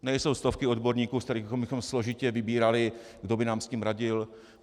Nejsou stovky odborníků, ze kterých bychom složitě vybírali, kdo by nám s tím radil.